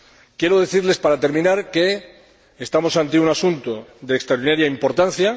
Quiero decirles, para terminar, que estamos ante un asunto de extraordinaria importancia.